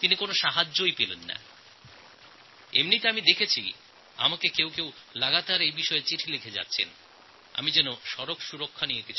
তিনি কোনও সাহায্য পাননি আমি এটাও দেখছি যে কিছু মানুষ বার বার আমাকে লিখছেন পথ নিরাপত্তার বিষয়ে কিছু বলার অনুরোধ জানিয়ে